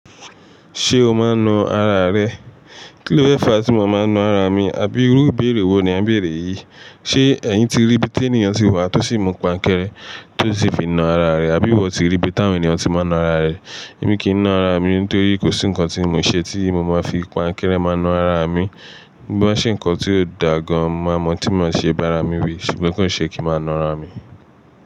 Ṣé o máa ń na ara rẹ? Kí ló fẹ́ fa tí mo máa ń na ara mi? Àbí irú ìbéèrè wo ni a ń béèrè yìí? Ṣé ẹ̀yin ti rí bí tí ènìyàn ti wà tó sì mú páńkẹ́rẹ́ tó sì fi na ara rẹ̀? Àbí ìwọ ti rí bí táwọn ènìyàn tí máa ń na ara rẹ̀? Èmi kì í na ara mi nítorí kò sí nǹkan tí mo ṣe tí mo máa fi páńkẹ́rẹ́ máa na ara mi. Bí mó bá ṣe nǹkan tí ó dà gan máa mọ̀ tí mo ṣe bá ara mi wí, ṣùgbọ́n kò ṣe kí n máa na ara mi.